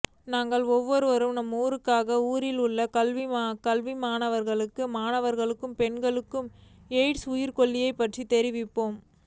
நாங்கள் ஒவ்வொருவரும் நமது ஊர்களுக்கு ஊரில் உள்ள கல்விமான்களுக்கு மாணவர்களுக்கு பெண்களுக்கு எயிட்ஸ் உயிர்கொல்லி பற்றி தெரிவிப்போம்